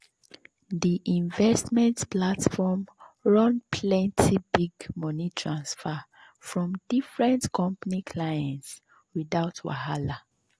the investment platform run plenty big money transfer from different company clients without wahala.